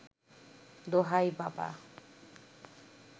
দোহাই বাবা